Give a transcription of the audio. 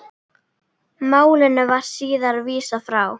Málinu var síðar vísað frá.